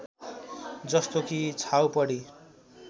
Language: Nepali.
जस्तो कि छाउपडी